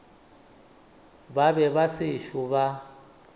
ba be ba sešo ba